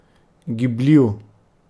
Gibljiv.